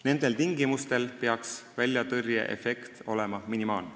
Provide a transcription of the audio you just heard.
Nendel tingimustel peaks väljatõrjeefekt olema minimaalne.